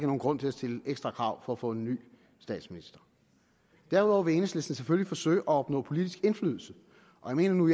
nogen grund til at stille ekstra krav for at få en ny statsminister derudover vil enhedslisten selvfølgelig forsøge at opnå politisk indflydelse og jeg mener nu